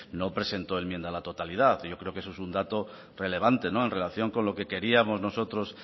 no presentó enmienda a la totalidad yo creo que eso es un dato relevante en relación con lo que queríamos nosotros